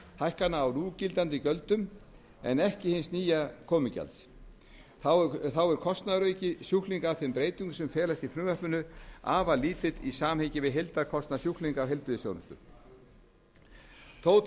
hækkana á núgildandi gjöldum en ekki hins nýja komugjalds þá er kostnaðarauki sjúklinga af þeim breytingum sem felast í frumvarpinu afar lítill í samhengi við heildarkostnað sjúklinga af heilbrigðisþjónustu þó